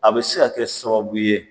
A bɛ se ka kɛ sababu ye